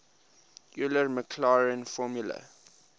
euler maclaurin formula